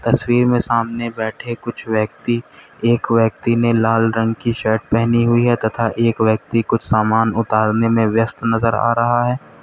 तस्वीर में सामने बैठे कुछ व्यक्ति एक व्यक्ति ने लाल रंग की शर्ट पहनी हुई है तथा एक व्यक्ति कुछ सामान उतारने में व्यस्त नजर आ रहा है।